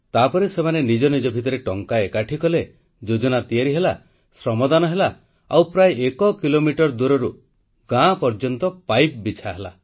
ତାପରେ ସେମାନେ ନିଜ ନିଜ ଭିତରେ ଟଙ୍କା ଏକାଠି କଲେ ଯୋଜନା ତିଆରି ହେଲା ଶ୍ରମଦାନ ହେଲା ଆଉ ପ୍ରାୟ ଏକ କିଲୋମିଟର ଦୂରରୁ ଗାଁ ପର୍ଯ୍ୟନ୍ତ ପାଇପ୍ ବିଛା ହେଲା